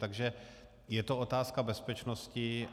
Takže je to otázka bezpečnosti.